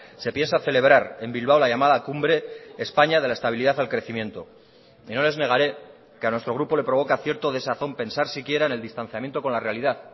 se piensa celebrar en bilbao la llamada cumbre españa de la estabilidad al crecimiento y no les negaré que a nuestro grupo le provoca cierto desazón pensar siquiera en el distanciamiento con la realidad